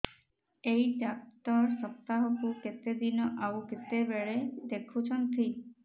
ଏଇ ଡ଼ାକ୍ତର ସପ୍ତାହକୁ କେତେଦିନ ଆଉ କେତେବେଳେ ଦେଖୁଛନ୍ତି